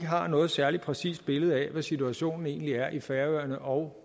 har noget særlig præcist billede af hvad situationen egentlig er på færøerne og